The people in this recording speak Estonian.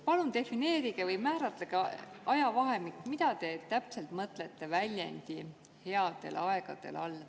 Palun defineerige või määratlege ajavahemik, mida te mõtlete väljendi "headel aegadel" all.